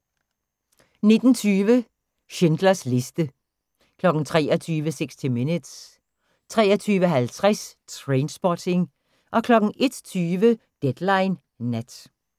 19:20: Schindlers liste 23:00: 60 Minutes 23:50: Trainspotting 01:20: Deadline Nat